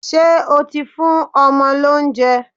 Ṣé o ti fún ọmọ lóúnjẹ?